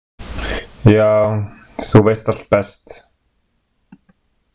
Já, þú veist allt best.